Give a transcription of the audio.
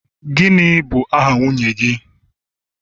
gini bu aha nwunye gi?